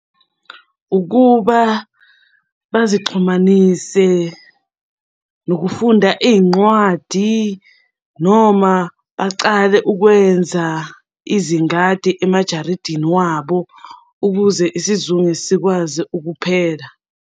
Ukuba bazixhumanise nokufunda iy'nqwadi noma bacale ukwenza izingadi emajaridini wabo ukuze isizungu sikwazi ukuphela.